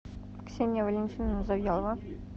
ксения валентиновна завьялова